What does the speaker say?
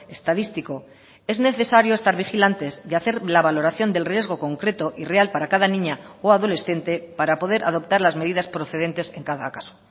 estadístico es necesario estar vigilantes de hacer la valoración del riesgo concreto y real para cada niña o adolescente para poder adoptar las medidas procedentes en cada caso